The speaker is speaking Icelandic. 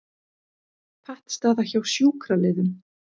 Pattstaða hjá sjúkraliðum